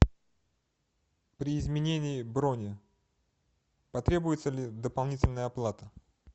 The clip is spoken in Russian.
при изменении брони потребуется ли дополнительная оплата